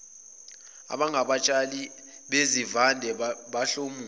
abangabatshali bezivande bahlomula